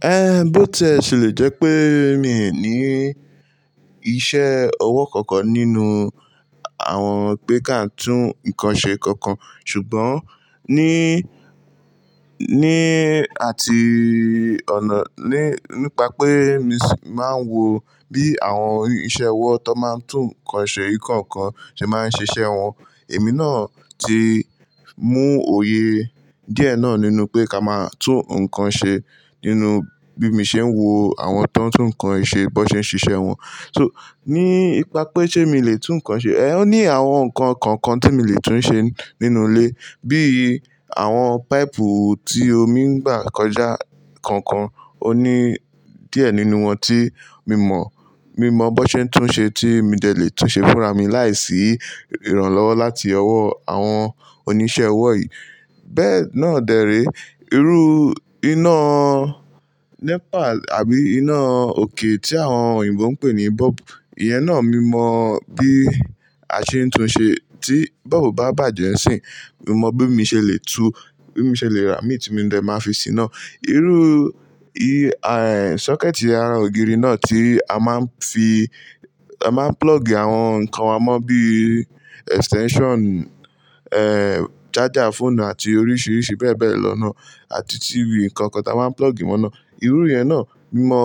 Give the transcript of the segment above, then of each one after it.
Eh, bó tẹ sì le jẹ́ pé mi ò ní iṣẹ́ ọwọ́ kankan nínú àwọn pé ká tún ǹkan ṣe kankan, ṣùgbọ́n ní, ní àti ọ̀nà ní, nípa pé mi máa ń wo bí àwọn iṣẹ́ ọwọ́ tó máa ń tún ǹkan ṣe kankan ṣe máa ń ṣiṣẹ́ wọn. Èmi náà ti mú òye díẹ̀ náà nínú pé ká máa tún ǹkan ṣe nínú bí mo ṣe ń wo àwọn tó ń tún ǹkan ṣe bó ṣe ń ṣiṣẹ́ wọn. So, nípa pé ṣé mi lè tún ǹkan ṣe? Ẹ̀h, ó ní àwọn ǹkan kankan tí mi lè tún ṣe nínú ilé, bíi àwọn páìpù tí omi ń gbà kọjá kankan, ó ní díẹ̀ nínú wọn tí mi mọ̀, mi mọ̀ bó ṣe ń tún ṣe tí mi jẹ̀ lè tún ṣe fúnra mi láìsí ìrànlọ́wọ́ láti ọwọ́ àwọn oníṣẹ́ ọwọ́ yìí. Bẹ́ẹ̀ náà dẹ̀ re, irú iná Nepa àbí iná òkè tí àwọn òyìnbó ń pè ní bulb, iye náà mi mọ bí a ṣe ń tún ṣe tí bulb bá bàjẹ́ nsín, mi mọ bí mi ṣe lè tú, bí mi ṣe lè rà mí tí mo dẹ̀ máa fi ṣìná. Irú, eeh, socket ara ògiri náà tí a máa ń fi, a máa ń plug àwọn ǹkan wa mọ bí extension, eh, charger fóònù àti oríṣiríṣi bẹ́ẹ̀ bẹ́ẹ̀ lọ náà àti TV, ǹkan kan tí a máa ń plug wo ina. Irú yen náà, mi mọ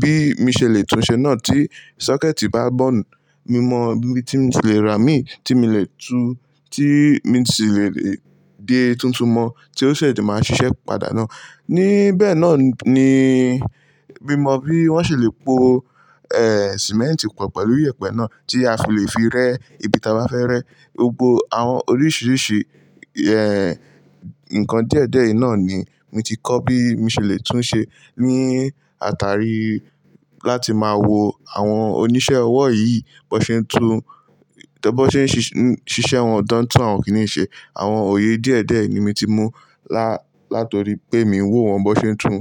bí mi ṣe lè tún ṣe náà tí socket bá burn, mi mọ ibi tí mo lè rà mí tí mo lè tú, tí mo sì lè dé tuntun mọ́ tí ó sì ṣe máa ṣiṣẹ́ padà náà. Ni bẹ́ẹ̀ náà ni mi mọ bí wọ́n ṣe lè po, ẹ́ẹ́, sìmẹ́ǹtì pọ̀ pẹ̀lú iyẹ̀pẹ̀ náà tí a fi le fi rẹ́ ibi tí a bá fẹ́ rẹ́. Gbogbo àwọn oríṣiríṣi, ẹ́ẹ́, ǹkan díẹ̀díẹ̀ yìí náà ni mi ti kọ́ bí mi ṣe lè tún ṣe ní àtàrí láti máa wo àwọn oníṣẹ́ ọwọ́ yìí bó ṣe ń tún, bó ṣe ń ṣiṣẹ́ wọn ti won tun awon kin-in-ni se. Àwọn òye díẹ̀díẹ̀ ni mi ti mú lá, láti ọ̀rí pé mi ń wo wọn bó ṣe ń tún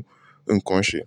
ǹkan ṣe.